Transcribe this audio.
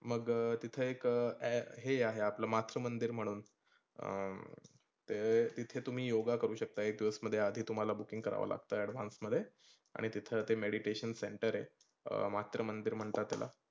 मग तीथ एक अ‍ॅ हे आहे आपल मातृ मंदीर म्हणून अं तीथे तुम्ही योगा करू शकता. एक दिवस मध्ये आधी तुम्हाला booking करावा लगतं advance मध्ये आणि तिथ ते meditation center आहे. अं मातृ मंदीर म्हणतात त्याला.